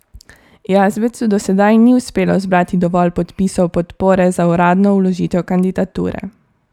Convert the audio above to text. Jazbecu do sedaj ni uspelo zbrati dovolj podpisov podpore za uradno vložitev kandidature.